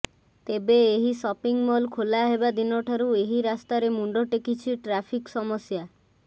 ତେବେ ଏହି shopping mall ଖୋଲା ହେବା ଦିନ ଠାରୁ ଏହି ରାସ୍ତାରେ ମୁଣ୍ଡ ଟେକିଛି ଟ୍ରାଫିକ୍ ସମସ୍ୟା